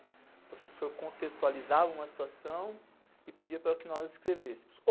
O professor contextualizava uma situação e pedia para que nós escrevêssemos.